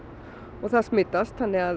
og það smitast þannig að